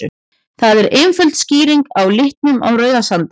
Það er einföld skýring á litnum á Rauðasandi.